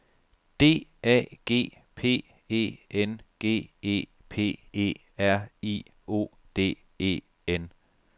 D A G P E N G E P E R I O D E N